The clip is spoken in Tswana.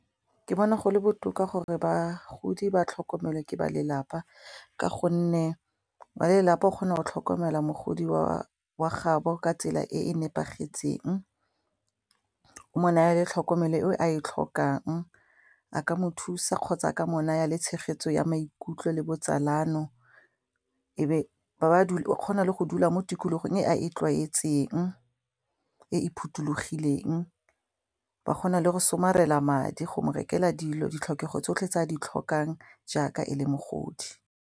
Ke bona gole botoka gore bagodi ba tlhokomelwe ke balelapa ka gonne balelapa o kgona go tlhokomela mogodi wa gaabo ka tsela e e nepagetseng o mo naya le tlhokomelo eo a e tlhokang, a ka mo thusa kgotsa ka mo naya le tshegetso ya maikutlo le botsalano, go na le go dula mo tikologong e a e tlwaetseng e e phuthulogileng ba kgona le go somarela madi go mo rekelwa dilo ditlhokego tsotlhe tse a di tlhokang jaaka e le mogodi.